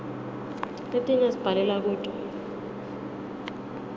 letinye sibhalela kuto